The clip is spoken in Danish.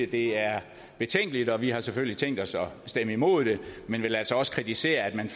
det er betænkeligt og vi har selvfølgelig tænkt os at stemme imod det men vil altså også kritisere at man